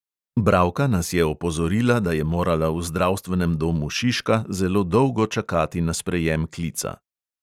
Bralka nas je opozorila, da je morala v zdravstvenem domu šiška zelo dolgo čakati na sprejem klica.